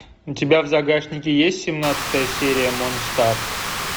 у тебя в загашнике есть семнадцатая серия монстар